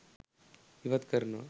ඉවත් කරනවා.